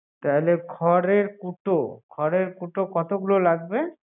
তাহলে খড়ের কতো, খড়ের কুটো লাগবে